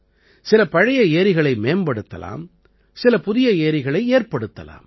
சில பழைய ஏரிகளை மேம்படுத்தலாம் சில புதிய ஏரிகளை ஏற்படுத்தலாம்